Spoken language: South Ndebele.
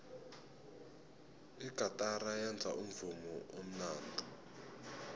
igatara yenza umvumo omnandi